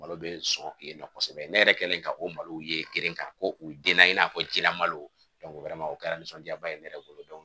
Malo bɛ sɔrɔ yen nɔ kosɛbɛ ne yɛrɛ kɛlen ka o malo ye kelen kan u denna i n'a fɔ jilamalo o kɛra nisɔndiyaba ye ne yɛrɛ bolo